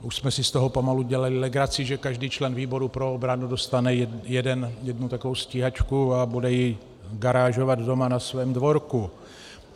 Už jsme si z toho pomalu dělali legraci, že každý člen výboru pro obranu dostane jednu takovou stíhačku a bude ji garážovat doma na svém dvorku.